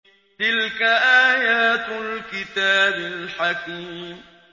تِلْكَ آيَاتُ الْكِتَابِ الْحَكِيمِ